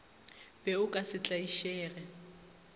be o ka se tlaišege